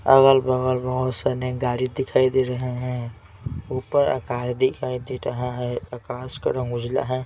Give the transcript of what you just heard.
अगल-बगल बहुत सारे गाड़ी दिखाई दे रहे हैं ऊपर आकाश दिखाई दे रहा है आकाश का रंग उजला है.